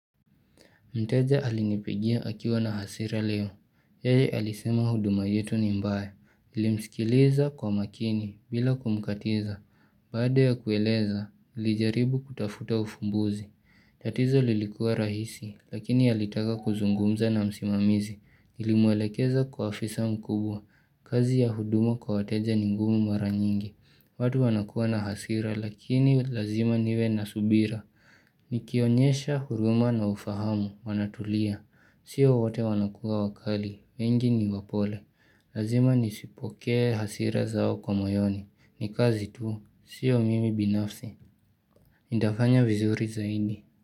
Mteja alinipigia akiwa na hasira leo. Yeye alisema huduma yetu ni baya nilimsikiliza kwa makini bila kumkatiza. Baada ya kueleza, nilijaribu kutafuta ufumbuzi. Tatizo lilikua rahisi, lakini ya alitaka kuzungumza na msimamizi. Nilimwelekeza kwa afisa mkuu kazi ya huduma kwa wateja ni ngumu mara nyingi. Watu wanakuwa na hasira lakini lazima niwe na subira. Nikionyesha huruma na ufahamu, wanatulia Sio wate wanakuwa wakali, wengi ni wapole Lazima nizipokee hasira zao kwa moyoni ni kazi tu, sio mimi binafsi Nitafanya vizuri zaidi.